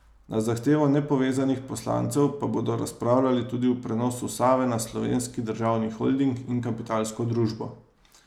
Na zahtevo nepovezanih poslancev pa bodo razpravljali tudi o prenosu Save na Slovenski državni holding in Kapitalsko družbo.